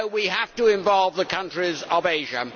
So we have to involve the countries of Asia.